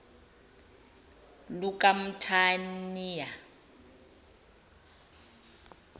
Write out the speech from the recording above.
lukamthaniya